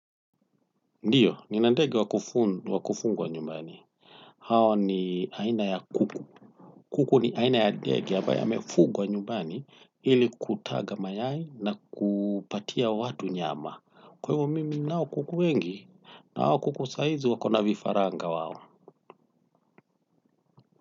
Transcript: Ndiyo, nina ndege wa kufungwa nyumbani. Hao ni aina ya kuku. Kuku ni aina ya ndegie ambaye amefugwa nyumbani ili kutaga mayai na kupatia watu nyama. Kwaivo mimi ninao kuku wengi na hao kuku saizi wako na vifaranga wao.